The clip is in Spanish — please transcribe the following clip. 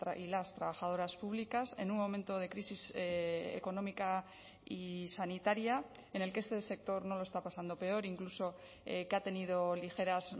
y las trabajadoras públicas en un momento de crisis económica y sanitaria en el que este sector no lo está pasando peor incluso que ha tenido ligeras